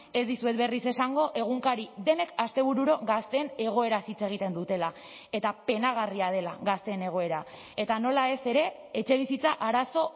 ez dizuet berriz esango egunkari denek astebururo gazteen egoeraz hitz egiten dutela eta penagarria dela gazteen egoera eta nola ez ere etxebizitza arazo